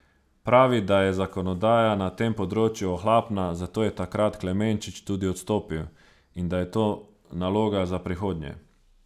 Pravi, da je zakonodaja na tem področju ohlapna, zato je takrat Klemenčič tudi odstopil, in da je to naloga za prihodnje.